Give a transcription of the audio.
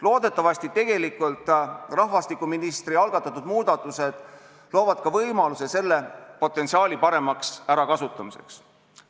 Loodetavasti tegelikult rahvastikuministri algatatud muudatused loovad ka võimaluse selle potentsiaali paremaks ärakasutamiseks.